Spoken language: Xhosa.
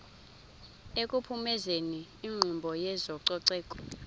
ekuphumezeni inkqubo yezococeko